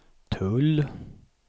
tull